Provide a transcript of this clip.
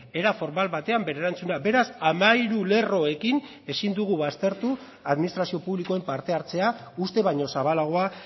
era formal batean bere erantzuna beraz hamairu lerroekin ezin dugu baztertu administrazio publikoen parte hartzea uste baino zabalagoa